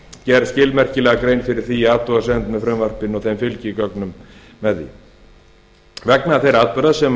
gerð skilmerkilega grein fyrir því í athugasemd með frumvarpinu og þeim fylgigögnum með því vegna þeirra atburða sem hér